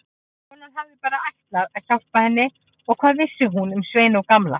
Konan hafði bara ætlað að hjálpa henni og hvað vissi hún um Svein og Gamla.